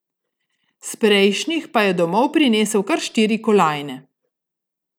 S prejšnjih pa je domov prinesel kar štiri kolajne.